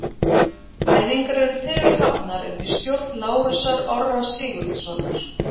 Æfingar eru þegar hafnar undir stjórn Lárusar Orra Sigurðssonar.